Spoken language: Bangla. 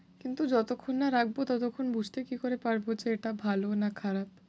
কিন্তু যতক্ষণ না রাখব ততক্ষণ বুঝতে কী করে পারব যে এটা ভালো না খারাপ?